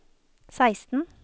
seksten